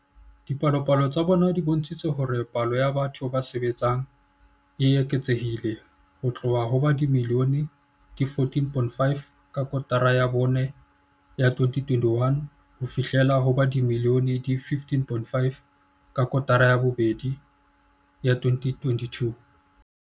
Dipalopalo tsa bona di bontshitse hore palo ya batho ba sebetsang e eketsehile ho tloha ho ba dimilione di 14.5 ka kotara ya bone ya 2021 ho fihlela ho ba dimilione di 15.5 ka kotara ya bobedi ya 2022.